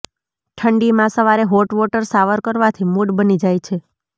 ઠંડીમાં સવારે hot water shower કરવાથી મૂડ બની જાય છે